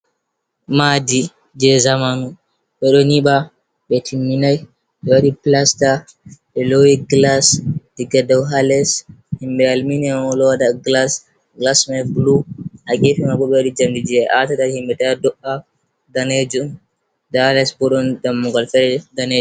Madi je zamanu ɓeɗo nyiba ɓe tminai ɓe waɗi plasta ɓe lowi glas diga dau ha les himɓɓe almineo on ɗo waɗa glas glasma blu ha gefe man bo ɓe waɗi jamdi je atata himɓɓe ta do’a danejum nda les bo ɗon dammugal fereje dane.